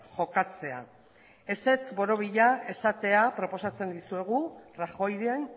jokatzea ezetz borobila esatea proposatzen dizuegu rajoyren